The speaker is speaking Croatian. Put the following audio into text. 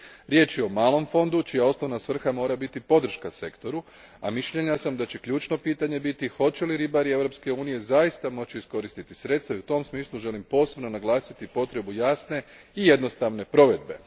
Riječ je o malom fondu čija osnovna svrha mora biti podrška sektoru, a mišljenja sam da će ključno pitanje biti hoće li ribari Europske unije zaista moći iskoristiti sredstva i u tom smislu želim posebno naglasiti potrebu jasne i jednostavne provedbe.